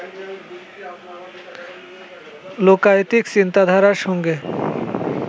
লোকায়তিক চিন্তাধারার সঙ্গে